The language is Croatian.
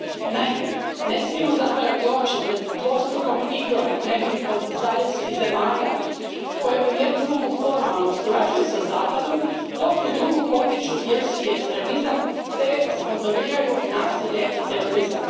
Naime, ne smijemo zatvarati oči pred dvostrukom igrom nekih od zaljevskih zemalja koje u jednu ruku formalno surađuju sa Zapadom, dok u drugu potiču vjerski ekstremizam te sponzoriraju nasilje i terorizam.